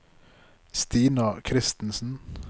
Stina Christensen